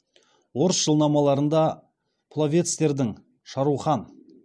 орыс жылнамаларында пловецтердің шарухан